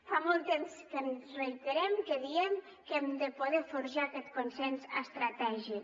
fa molt temps que ens reiterem que diem que hem de poder forjar aquest consens estratègic